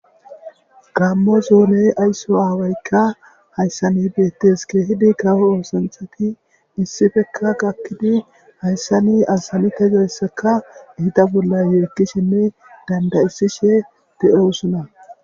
Gaammo zoone ayso aawaykka hayssan beettees. Keehidi kawo oosanthati issipekka gakkidi hayssani azanideyska eta bolla yeekkishenne dandda7isishe de7oosona.